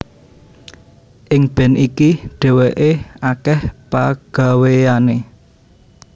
Ing band iki dhéwéké akèh pagawéyané